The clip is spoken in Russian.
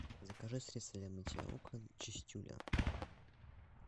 закажи средство для мытья окон чистюля